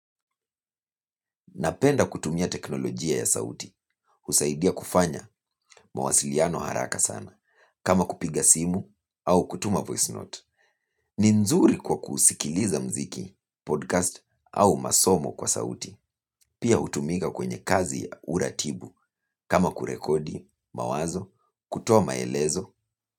Napenda kutumia teknolojia ya sauti. Husaidia kufanya mawasiliano haraka sana. Kama kupiga simu au kutuma voice note. Ni nzuri kwa kusikiliza mziki, podcast au masomo kwa sauti. Pia hutumika kwenye kazi uratibu. Kama kurekodi, mawazo, kutoa maelezo.